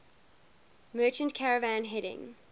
merchant caravan heading